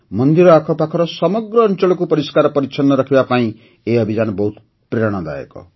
ମନ୍ଦିର ଆଖପାଖର ସମଗ୍ର ଅଞ୍ଚଳକୁ ପରିଷ୍କାର ପରିଚ୍ଛନ୍ନ ରଖିବା ପାଇଁ ଏହି ଅଭିଯାନ ବହୁତ ପ୍ରେରଣାଦାୟକ